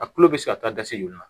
A kulo bɛ se ka taa gaze ju la